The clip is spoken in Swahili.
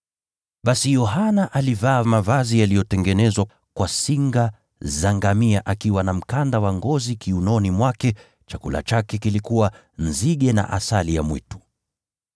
Basi Yohana alivaa mavazi yaliyotengenezwa kwa singa za ngamia, akiwa na mkanda wa ngozi kiunoni mwake. Chakula chake kilikuwa nzige na asali ya mwitu.